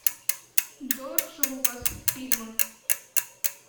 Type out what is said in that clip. джордж лукас фильмы